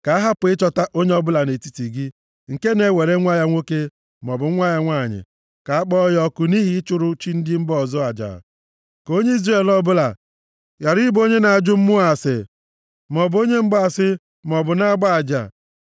Ka a hapụ ịchọta onye ọbụla nʼetiti gị nke na-ewere nwa ya nwoke maọbụ nwanyị nye ka a kpọọ ya ọkụ nʼihi ịchụrụ chi ndị mba ọzọ aja. Ka onye Izrel ọbụla ghara ịbụ onye na-ajụ mmụọ ase maọbụ onye mgbaasị maọbụ na-agba aja,